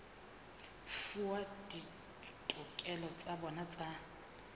fuwa ditokelo tsa bona tsa